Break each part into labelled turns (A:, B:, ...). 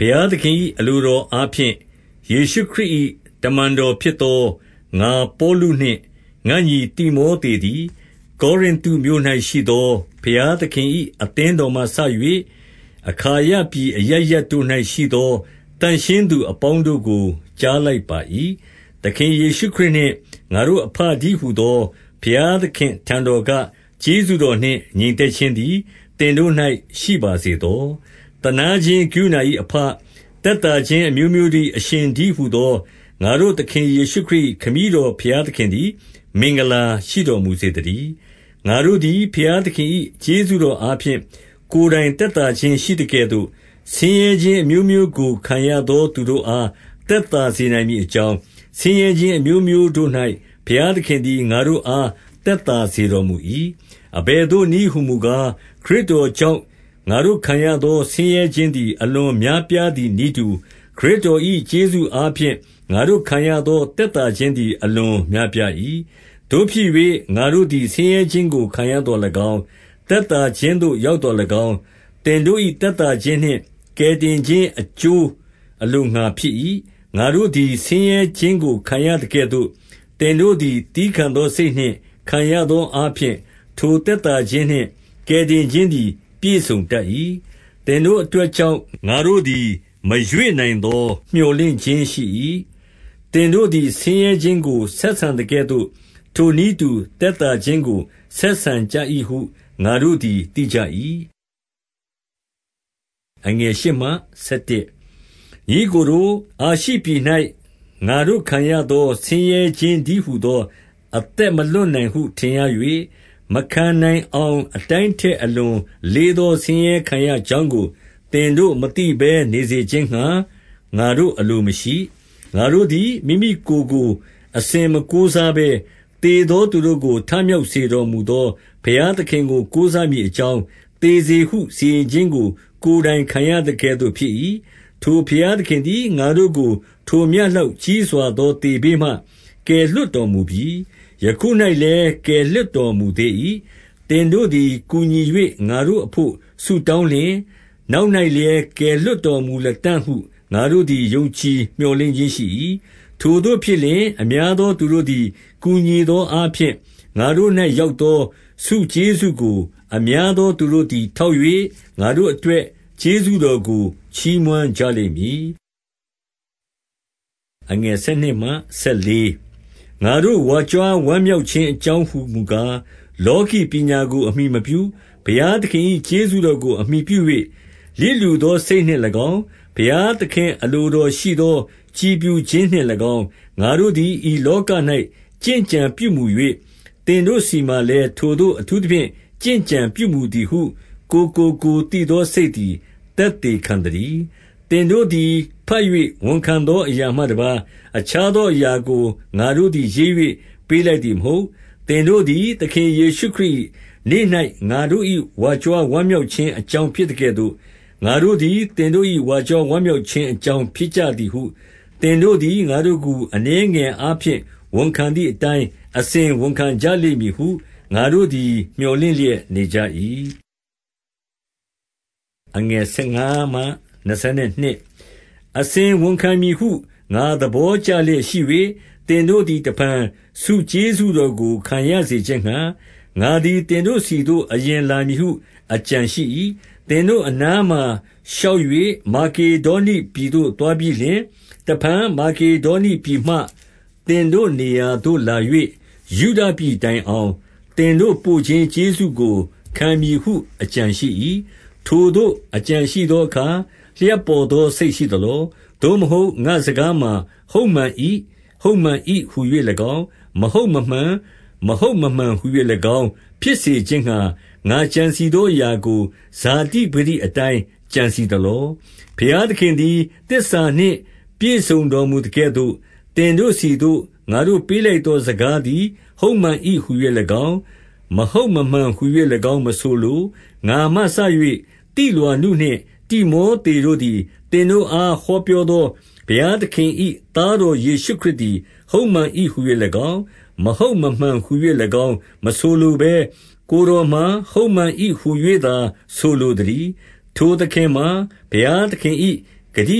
A: ဘုရားသခင်၏အလိုတော်အားဖြင့် ယေရှုခရစ်၏ တမန်တော် ဖြစ်သော ငါပေါလုနှင့် ငါ့ညီတိမောသေ သည်၊ ကောရိနသုမြို့၌ရှိသော ဘုရားသခင်၏ အသင်း တော်မှ စ၍၊ အခါယပြည် အရပ်ရပ်တို့၌ရှိသော သန့်ရှင်း သူအပေါင်းတို့ကို ကြားလိုက်ပါ၏။ 2 သခင်ယေရှုခရစ်နှင့် ငါတို့အဘတည်းဟူသော ဘုရားသခင် အထံတော်က ကျေးဇူးတော်နှင့် ငြိမ်သက်ခြင်းသည် သင်တို့၌ ရှိပါစေသော။ 3 သနားခြင်းကရုဏာ၏အဘ၊ သက်သာခြင်း အမျိုးမျိုးတို့၏ အရှင်တည်းဟူသော ငါတို့သခင် ယေရှုခရစ်၏ ခမည်းတော် ဘုရားသခင်သည် မင်္ဂလာ ရှိတော်မူစေတည်း။ 4 ငါတို့သည် ဘုရားသခင်၏ ကျေးဇူးတော် အားဖြင့် ကိုယ်တိုင် သက်သာခြင်းရှိသကဲ့သို့၊ ဆင်းရဲခြင်း အမျိုးမျိုးကို ခံရသောသူတို့ အားသက်သာ စေနိုင်မည်အကြောင်း၊ ဆင်းရဲခြင်းအမျိုးမျိုးတို့၌ ဘုရား သခင်သည် ငါတို့အားသက်သာစေတော်မူ၏။ 5 အဘယ်သို့နည်းဟူမူကား၊ ခရစ်တော်ကြောင့် ငါတို့ခံရသော ဆင်းရဲခြင်းသည် အလွန်များပြားသည် နည်းတူ၊ ခရစ်တော်၏ကျေးဇူး အားဖြင့် ငါတို့ခံရသော သက်သာခြင်းသည် အလွန်များပြား၏။ 6 သို့ဖြစ်၍ငါတို့သည် ဆင်းရဲခြင်းကိုခံရသော်၎င်း၊ သက်သာခြင်း သို့ရောက်သော်၎င်း၊ သင်တို့၏ သက်သာခြင်းနှင့် ကယ်တင်ခြင်း အကျိုးအလိုငှါဖြစ်၏။ ငါတို့သည် ဆင်းရဲခြင်းကိုခံရသကဲ့သို့ သင်တို့သည် သည်းခံသော စိတ်နှင့်ခံရသောအားဖြင့်၊ ထိုသက်သာခြင်းနှင့် ကယ်တင်ခြင်းသည်ပြည့်စုံတတ်၏။ 7 သင်တို့အတွက်ကြောင့်ငါတို့သည် မရွေ့နိုင်သော မြော်လင့်ခြင်းရှိ၏။ သင်တို့သည် ဆင်းရဲခြင်း ကိုဆက်ဆံသကဲ့သို့၊ ထိုနည်းတူသက်သာခြင်းကို ဆက်ဆံကြ၏ဟုငါတို့သည်သိကြ၏။ 8 ညီအစ်ကိုတို့၊ အာရှိပြည်၌ငါတို့ခံရသော ဆင်းရဲခြင်းတည်းဟူသော အသက်မလွတ်နိုင်ဟု ထင်ရ၍၊ မခံနိုင်အောင်အတိုင်းထက် အလွန်လေးသော ဆင်းရဲခံရကြောင်းကို သင်တို့မသိဘဲ နေစေခြင်းငှါ ငါတို့ အလိုမရှိ။ 9 ငါတို့သည်မိမိကိုယ်ကိုအစဉ်မကိုးစားဘဲ၊ သေသောသူတို့ကို ထမြောက်စေတော်မူသော ဘုရား သခင်ကို ကိုးစားမည်အကြောင်း သေစေဟုစီရင်ခြင်းကို ကိုယ်တိုင်ခံရသကဲ့သို့ဖြစ်၏။ 10 ထိုဘုရားသခင်သည် ငါတို့ကိုထိုမျှလောက် ကြီးစွာသော သေဘေးမှ ကယ်လွှတ်တော်မူပြီ။ ယခု၌ လည်း ကယ်လွှတ်တော်မူသေး၏။ 11 သင်တို့သည်ကူညီ၍ ငါတို့အဘို့ဆုတောင်းလျှင်၊ နောက်၌လည်း ကယ်လွှတ်တော်မူလတံ့ဟု ငါတို့သည် ယုံကြည်မျှော်လင့်ခြင်းရှိ၏၊ ထိုသို့ဖြစ်လျှင် အများသော သူတို့သည် ကူညီသောအားဖြင့် ငါတို့၌ ရောက်သော ကျေးဇူးကို အများသောသူတို့သည်ထောက်၍ ငါတို့အတွက်ကျေးဇူးတော်ကို ချီးမွမ်းကြလိမ့်မည်။ 12 ငါတို့ဝါကြွားဝမ်းမြောက်ခြင်း အကြောင်း ဟူမူကား၊ လောကီ ပညာကိုအမှီမပြု၊ ဘုရားသခင်၏ ကျေးဇူးတော်ကို အမှီပြု၍ လျစ်လျူသောစိတ်နှင့်၎င်း၊ ဘုရားသခင် အလိုတော်ရှိသောကြည်ဖြူခြင်းနှင့်၎င်း၊ ငါတို့သည်ဤလောက၌ ကျင့်ကြံပြုမူ၍ သင်တို့ဆီမှာလည်း ထိုသို့အထူးသဖြင့် ကျင့်ကြံပြုမူသည်ဟု ကိုယ်ကို ကိုယ်သိသော စိတ်သည်သက်သေခံသတည်း။ 13 သင်တို့သည်ဘတ်၍ ဝန်ခံသောအရာမှတပါး၊ 14 အခြားသောအရာကို ငါတို့သည် ရေး၍ ပေးလိုက်သည်မဟုတ်။ သင်တို့သည် သခင် ယေရှုခရစ် ၏ နေ့၌ ငါတို့၏ဝါကြွားဝမ်းမြောက်ခြင်း အကြောင်းဖြစ် သကဲ့သို့၊ ငါတို့သည်သင်တို့၏ ဝါကြွားဝမ်း မြောက်ခြင်း အကြောင်းဖြစ်သည်ဟု သင်တို့သည်ငါတို့ကို အနည်း ငယ်အားဖြင့်ဝန်ခံသည်အတိုင်း အစဉ်ဝန်ခံကြလိမ့်မည်ဟု ငါတို့သည် မြော်လင့်လျက်နေကြ၏။ 15 အစဉ်ဝန်ခံမည်ဟု ငါသဘောကျလျက်ရှိ၍၊ သင်တို့သည်တဖန် ဆုကျေးဇူးတော်ကိုခံရစေခြင်းငှါ ငါ သည်သင်တို့ဆီသို့အရင်လာမည်ဟု အကြံရှိ၏။ 16 သင်တို့အနားမှာရှောက်၍ မာကေဒေါနိပြည် သို့သွားပြီးလျှင်၊ တဖန်မာကေဒေါနိပြည်မှ သင်တို့ နေရာသို့လာ၍၊ ယုဒပြည်တိုင်အောင် သင်တို့ပို့ခြင်း ကျေးဇူးကို ခံမည်ဟုအကြံရှိ၏။ 17 ထိုသို့အကြံရှိသောအခါ လျှပ်ပေါ်သော စိတ်ရှိသလော။ သို့မဟုတ် ငါ့စကားမှာ ဟုတ်မှန်၏၊ ဟုတ်မှန်၏ဟူ၍၎င်း၊ မဟုတ်မမှန်၊ မဟုတ်မမှန်ဟူ၍၎င်း၊ ဖြစ်စေခြင်းငှါ ငါကြံစည်သောအရာကို ဇတိပကတိ အတိုင်း ကြံစည်သလော။ 18 ဘုရားသခင်သည် သစ္စာနှင့်ပြည့်စုံတော်မူသကဲ့သို့၊ သင်တို့ဆီသို့ ငါတို့ပေးလိုက်သော စကားသည် ဟုတ်မှန်၏ ဟူ၍၎င်း၊ မဟုတ်မမှန် ဟူ၍၎င်း၊ မဆိုလို။ 19 ငါမှစ၍သိလွာနုနှင့် တိမောသေတို့သည် သင်တို့အားဟောပြောသော ဘုရားသခင်၏သားတော် ယေရှုခရစ်သည် ဟုတ်မှန်၏ ဟူ၍၎င်း၊ မဟုတ်မမှန်ဟူ ၍၎င်းမဆိုလိုဘဲ၊ ကိုယ်တော်မှာ ဟုတ်မှန်၏ ဟူ၍ သာဆိုလိုသတည်း။ 20 ထိုသခင်မှာ ဘုရားသခင်၏ ဂတိ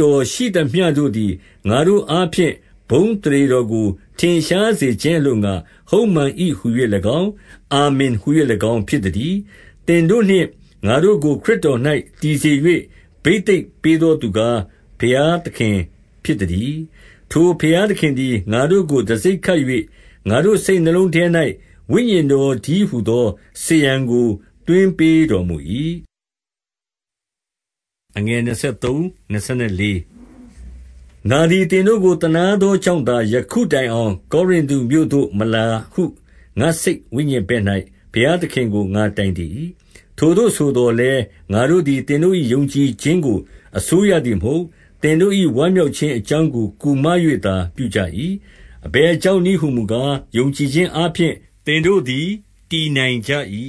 A: တော်ရှိသမျှ တို့သည် ငါတို့ အားဖြင့် ဘုန်းအသရေတော်ကို ထင်ရှား စေခြင်းအလိုငှါ၊ ဟုတ်မှန်၏ဟူ၍၎င်း၊ အာမင်ဟူ၍ ၎င်းဖြစ်သတည်း။ 21 သင်တို့နှင့်ငါတို့ကို ခရစ်တော်၌တည်စေ၍ ဘိသိက်ပေးသော သူကား၊ ဘုရားသခင်ဖြစ်သတည်း။ 22 ထိုဘုရားသခင်သည် ငါတို့ကိုတံဆိပ်ခတ်၍ ငါတို့စိတ်နှလုံးထဲ၌ ဝိညာဉ်တော်တည်းဟူသော စားရန်ကိုသွင်းပေးတော်မူ၏။ 23 ငါသည်သင်တို့ကို သနားသောကြောင့်သာ ယခုတိုင်အောင် ကောရိနသုမြို့သို့မလာဟု ငါစိတ်ဝိညာဉ် ဘက်၌ ဘုရားသခင်ကို ငါတိုင်တည်၏။ 24 ထိုသို့ဆိုသော်လည်း၊ ငါတို့သည်သင်တို့၏ ယုံကြည်ခြင်းကို အစိုးရသည်မဟုတ်။ သင်တို့၏ ဝမ်မြောက်ခြင်းအကြောင်းကို ကူမ၍သာပြုကြ၏။ အဘယ်ကြောင့်နည်းဟူမူကား၊ ယုံကြည်ခြင်းအားဖြင့် သင်တို့သည်တည်နိုင်ကြ၏။